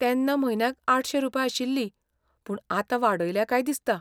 तेन्ना म्हयन्याक आठशे रुपया आशिल्ली पूण आतां वाडयल्या काय दिसता.